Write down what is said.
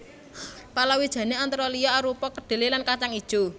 Palawijane antara liya arupa kedhelé lan kajang ijo